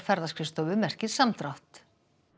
ferðaskrifstofu merkir samdrátt